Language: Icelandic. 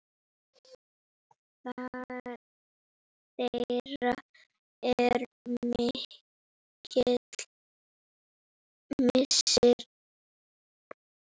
Þeirra er mikill missir.